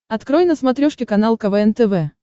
открой на смотрешке канал квн тв